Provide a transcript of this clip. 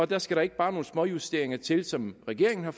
der skal ikke bare nogle småjusteringer til som regeringen har